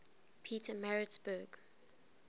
petermaritzburg